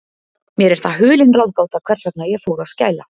Mér er það hulin ráðgáta, hvers vegna ég fór að skæla.